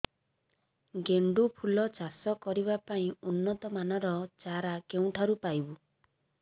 ଗେଣ୍ଡୁ ଫୁଲ ଚାଷ କରିବା ପାଇଁ ଉନ୍ନତ ମାନର ଚାରା କେଉଁଠାରୁ ପାଇବୁ